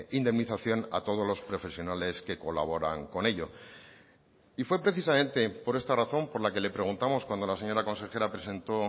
indemnización a todos los profesionales que colaboran con ello y fue precisamente por esta razón por la que le preguntamos cuando la señora consejera presentó